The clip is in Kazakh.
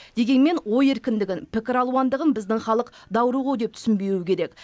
дегенмен ой еркіндігін пікір алуандығын біздің халық даурығу деп түсінбеуі керек